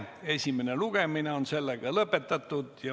Esimene lugemine on lõpetatud.